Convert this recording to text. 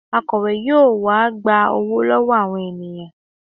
Akọ̀we yóò wá gba owó lọ́wọ́ àwọn ènìyàn